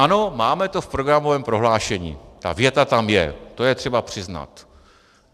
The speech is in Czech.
Ano, máme to v programovém prohlášení, ta věta tam je, to je třeba přiznat.